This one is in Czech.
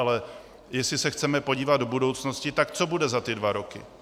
Ale jestli se chceme podívat do budoucnosti, tak co bude za ty dva roky?